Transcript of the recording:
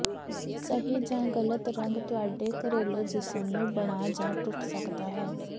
ਸਹੀ ਜਾਂ ਗ਼ਲਤ ਰੰਗ ਤੁਹਾਡੇ ਘਰੇਲੂ ਜਿਮ ਨੂੰ ਬਣਾ ਜਾਂ ਟੁੱਟ ਸਕਦਾ ਹੈ